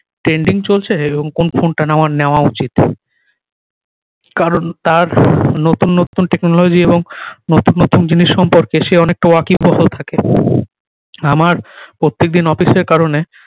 trending চলছে এবং কোন ফোন টা আমার নেওয়া উচিৎ কারণ তার নতুন নতুন technology এবং নতুন নতুন জিনিস সম্পর্কে সে অনেকটা wake বহল থাকে আমার প্রত্যেক দিন office এর কারণে